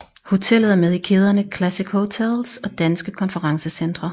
Hotellet er med i kæderne Classic Hotels og Danske Konferencecentre